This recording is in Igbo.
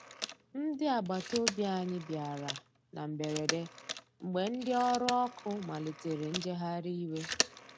Ndi agbata ọbì anya bìara na mgberede, mgbe ndi ọrụ ọkụ malitere njegharị iwe.